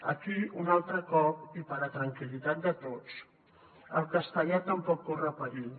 aquí un altre cop i per a tranquil·litat de tots el castellà tampoc corre perill